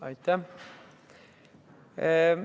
Aitäh!